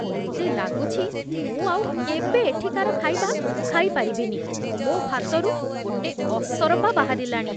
ମତେ ଲାଗୁଛି ମୁଁ ଆଉ କେବେ ଏଠିକାର ଖାଇବା ଖାଇପାରିବିନି, ମୋ' ଭାତରୁ ଗୋଟେ ଅସରପା ବାହାରିଲାଣି ।